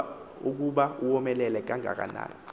ukuba omelele kangakanani